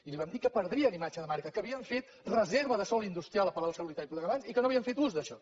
i li vam dir que perdrien imatge de marca que havien fet reserva de sòl industrial a palau solità i plegamans i que no havien fet ús d’això